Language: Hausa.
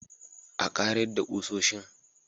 A karedda ƙusoshin